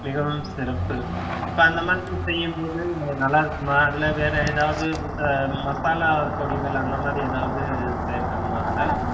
மிகவும் சிறப்பு இப்ப அந்த மாதிரி செய்யும்போது நீங்க நல்லா இருக்குமா இல்ல வேற ஏதாவது இந்த மசாலா பொடிகள் அந்த மாதிரி ஏதாவது சேர்க்கணுமா